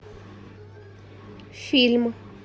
фильм